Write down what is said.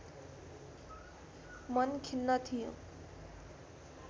मन खिन्न थियो